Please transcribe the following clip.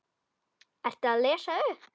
Ertu að lesa upp?